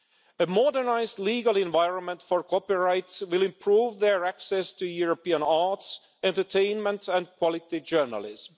A modernised legal environment for copyright will improve their access to European arts, entertainment and quality journalism.